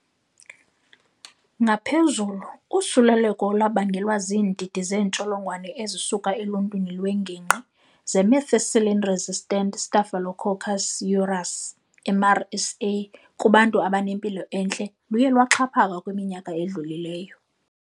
Ngaphezulu, usuleleko olubangelwe ziindidi zeentsholongowane ezisuka eluntwini lwengingqi ze-methicillin-resistant Staphylococcus aureus, MRSA, kubantu abanempilo entle luye lwaxhaphaka kwiminyaka edlulileyo.